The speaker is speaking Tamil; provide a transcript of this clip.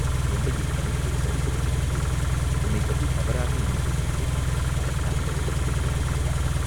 தொண்டையைக் கனைத்துச் சரிப்படுத்திக்கொண்டு, "உன்னைப் பற்றித் தவறாக எண்ணிக் கொண்டு விட்டேன், அதற்காக வருத்தப்படுகிறேன்" என்றான்.